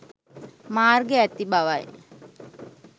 මාර්ග ඇති බවයි